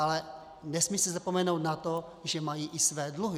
Ale nesmí se zapomenout na to, že mají i své dluhy.